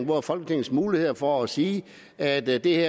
hvor folketingets muligheder er for at sige at det